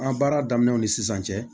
An baara daminɛw ni sisan cɛ